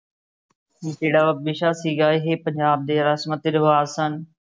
ਜਿਹੜਾ ਵਿਸ਼ਾ ਸੀ ਗਾ ਇਹ ਪੰਜਾਬ ਦੇ ਰਸਮਾਂ ਤੇ ਰਿਵਾਜ਼ ਸਨ।